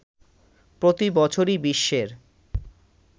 প্রতিবছরই বিশ্বের